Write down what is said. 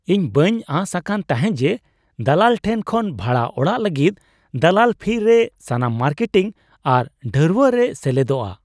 ᱤᱧ ᱵᱟᱹᱧ ᱟᱸᱥ ᱟᱠᱟᱱ ᱛᱟᱦᱮᱸᱜ ᱡᱮ ᱫᱟᱞᱟᱞ ᱴᱷᱮᱱ ᱠᱷᱚᱱ ᱵᱷᱟᱲᱟ ᱚᱲᱟᱜ ᱞᱟᱹᱜᱤᱫ ᱫᱟᱞᱟᱞ ᱯᱷᱤ ᱨᱮ ᱥᱟᱱᱟᱢ ᱢᱟᱨᱠᱮᱴᱤᱝ ᱟᱨ ᱰᱷᱟᱹᱨᱣᱟᱹᱜ ᱨᱮ ᱥᱮᱞᱮᱫᱚᱜᱼᱟ ᱾